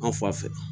An fa fɛ